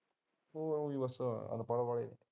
ਹੋਰ ਬਸ ਅਨਪੜ ਵਾਲੇ